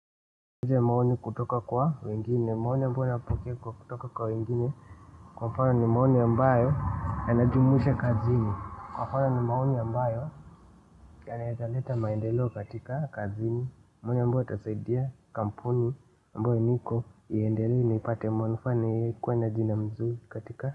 Ile maoni kutoka kwa wengine maoni ambayo yanatoka kwa wengine kwa mfano ni maoni ambayo yanajumuisha kazini haya ni maoni ambayo yanawezaleta maendeleo katika kazini. Mune ambayo itasaidia kampuni ambayo niko iendelee na ipate manufaa na ikuwe na jina mzuri katika.